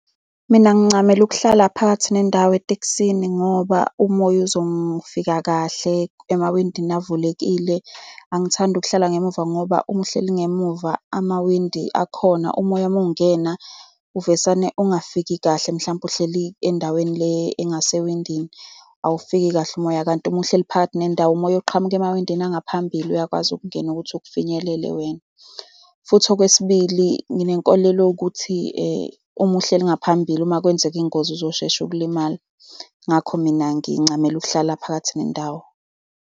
Mina ngincamela ukuhlala phakathi nendawo etekisini, ngoba umoya uzofika kahle emawindini avulekile. Angithandi ukuhlala ngemuva ngoba uma uhleli ngemuva amawindi akhona, umoya mungena uvesane ungafiki kahle, mhlawumpe uhleli endaweni le angasewindini, awufiki kahle umoya. Kanti uma uhleli phakathi nendawo, umoya oqhamuka emawindini angaphambili uyakwazi ukungena ukuthi ukufinyelele wena. Futhi okwesibili, nginenkolelo yokuthi uma uhleli ngaphambili, uma kwenzeka ingozi uzoshesha ukulimala. Ngakho mina ngincamela ukuhlala phakathi nendawo.